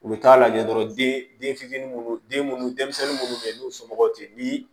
U bɛ taa lajɛ dɔrɔn den den fitinin minnu den munnu denmisɛnnin minnu bɛ yen n'u somɔgɔw tɛ yen ni